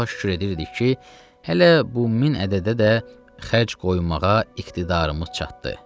Allaha şükür edirdik ki, elə bu min ədədə də xərc qoymağa iqtidarımız çatdı.